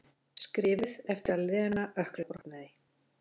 Skrifuð eftir að Lena ökklabrotnaði.